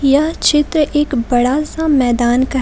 यह चित्र एक बड़ा सा मैदान का--